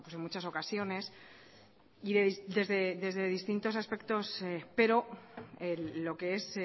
en muchas ocasiones y desde distintos aspectos pero lo que es